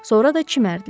Sonra da çimərdilər.